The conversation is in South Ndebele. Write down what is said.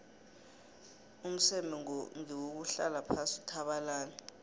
umseme ngewuhlala phasi uthabalale